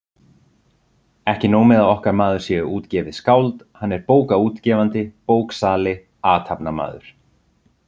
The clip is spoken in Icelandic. Ekki nóg með að okkar maður sé útgefið skáld, hann er bókaútgefandi, bóksali, athafnamaður!